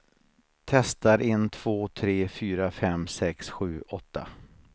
Testar en två tre fyra fem sex sju åtta.